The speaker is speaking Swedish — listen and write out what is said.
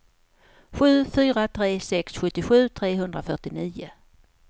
sju fyra tre sex sjuttiosju trehundrafyrtionio